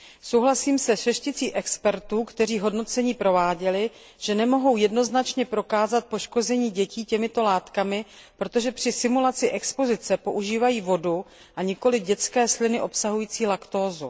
Souhlasím se šesticí expertů, kteří hodnocení prováděli, že nemohou jednoznačně prokázat poškození dětí těmito látkami, protože při simulaci expozice používají vodu, a nikoli dětské sliny obsahující laktózu.